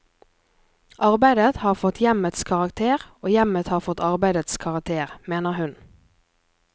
Arbeidet har fått hjemmets karakter og hjemmet har fått arbeidets karakter, mener hun.